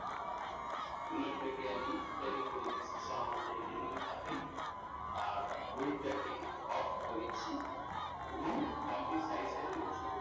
Owner টাকে আমরা italic করে দিচ্ছি সাধারণত এইটা italic থাকে আর bold টাকে off করে দিচ্ছি এবং এর size টাকে একটু ছোট করে